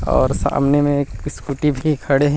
और सामने में स्कूटी भी खड़े है।